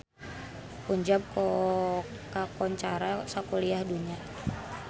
Punjab kakoncara sakuliah dunya